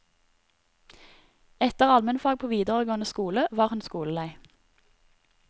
Etter almenfag på videregående skole var hun skolelei.